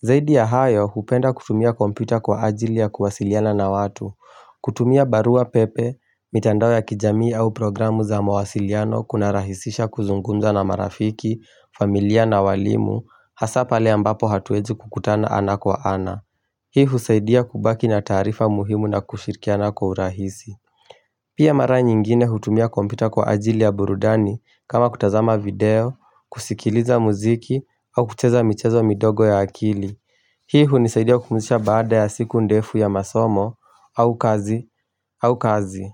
Zaidi ya hayo hupenda kutumia kompita kwa ajili ya kuwasiliana na watu. Kutumia barua pepe, mitandao ya kijamii au programu za mawasiliano kunarahisisha kuzungumza na marafiki, familia na walimu, hasa pale ambapo hatuwezi kukutana ana kwa ana. Hii husaidia kubaki na taarifa muhimu na kushirikiana kwa urahisi. Pia mara nyingine natumia kompyuta kwa ajili ya burudani kama kutazama video, kusikiliza muziki au kucheza michezo midogo ya akili. Hii hunisaidia kupumzika baada ya siku ndefu ya masomo au kazi.